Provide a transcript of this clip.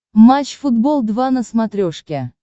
матч футбол два на смотрешке